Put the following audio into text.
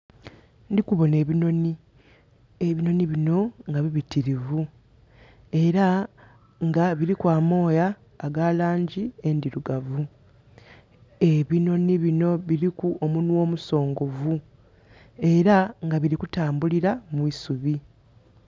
Ndikuboona ebinooni. Ebinooni bino nga bibitirivu era nga biriku amooya aga langi endirugavu. Ebinooni bino biriku omunwa omusongovu. Era nga birikutambulira mwisubi